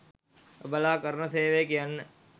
ඔබලා කරන සේවය කියන්න